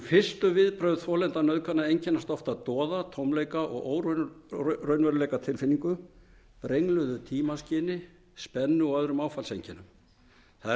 fyrstu viðbrögð þolenda nauðgana einkennast oft af doða tómleika og óraunveruleikatilfinningu brengluðu tímaskyni spennu og öðrum áfallseinkennum það er